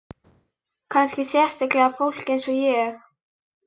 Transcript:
Kannski sérstaklega fólk eins og ég.